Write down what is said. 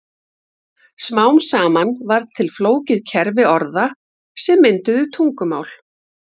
Smám saman varð til flókið kerfi orða sem mynduðu tungumál.